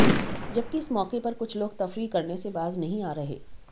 जबकि इस मौके पर कुछ लोग तफरीह करने से बाज नहीं आ रहे